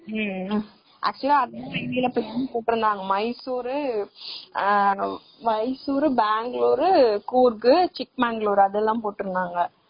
ம்ம் actual ஆ போட்ருந்தாங்க மைசூர், மைசூர், பெங்களூர், சிட்டமன், கூர்க்